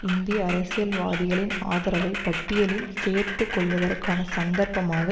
இந்திய அரசியல்வாதிகளின் ஆதரவை பட்டியலில் சேர்த்துக்கொள்வதற்கான சந்தர்ப்பமாக